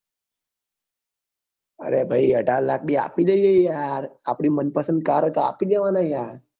અરે ભાઈ અઢાર લાખ પણ આપી દઈએ આપડી મન પસંદ કાર હોય તો આપી દેવાના યાર